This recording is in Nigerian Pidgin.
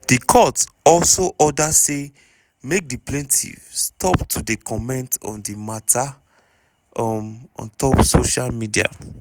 di court also order say make di plaintiff stop to dey comment on di mata um on top social media.